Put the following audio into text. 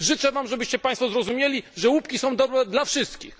Życzę Wam, żebyście zrozumieli, że łupki są dobre dla wszystkich.